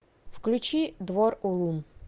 включи двор улун